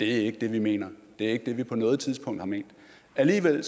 ikke det vi mener det er ikke det vi på noget tidspunkt har ment alligevel